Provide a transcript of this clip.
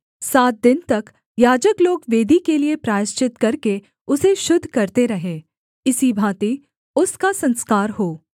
सात दिन तक याजक लोग वेदी के लिये प्रायश्चित करके उसे शुद्ध करते रहें इसी भाँति उसका संस्कार हो